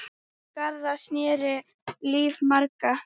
Garðar snerti líf margra.